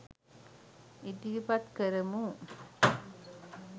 ඉදිරිපත් කරමු.